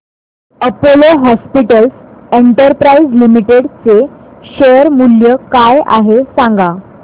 Apollo hospitals enterprise limited चे share मूल्य काय आहे सांगा